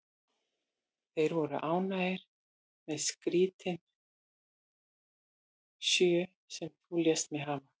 Þeir voru ánægðir með skeytin sjö, sem þú lést mig hafa.